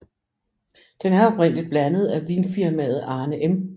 Den er oprindeligt blandet af vinfimaet Arne M